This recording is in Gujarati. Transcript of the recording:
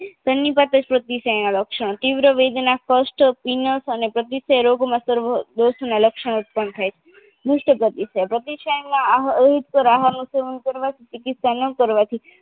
સન્નિપાટસનીના લક્ષણ તીવ્ર વેદના કષ્ટ પીનસ અને પ્રતિસય રોગોમાં સર્વ દોષોના લક્ષણો ઉત્પન્ન થાય છે દુસ્તપ્રતિસાય પ્રતિસાયમાં આહારનું સેવન કરવાથી ચીકીત્સા ના કરવાથી